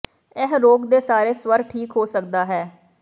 ਇਹ ਰੋਗ ਦੇ ਸਾਰੇ ਸਵਰ ਠੀਕ ਹੋ ਸਕਦਾ ਹੈ